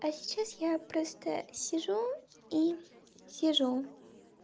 а сейчас я просто сижу и сижу